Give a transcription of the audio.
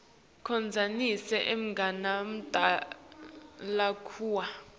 condzanisa emagama lakua